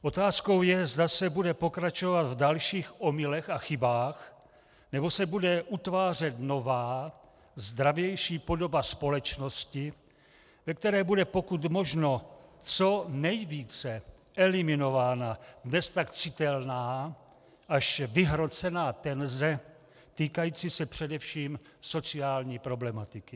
Otázkou je, zda se bude pokračovat v dalších omylech a chybách, nebo se bude utvářet nová, zdravější podoba společnosti, ve které bude pokud možno co nejvíce eliminována beztak citelná až vyhrocená tenze týkající se především sociální problematiky.